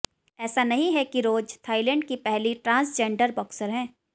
ऐसा नहीं है कि रोज़ थाईलैंड की पहली ट्रांसजेंडर बॉक्सर हैं